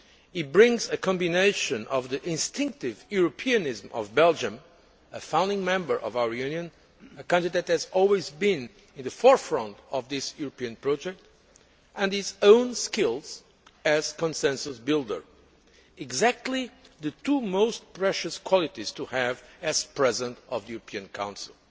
He brings a combination of the instinctive Europeanism of Belgium a founding member of our Union, a country that has always been at the forefront of this European project and his own skills as consensus builder exactly the two most precious qualities to have as President of the European Council.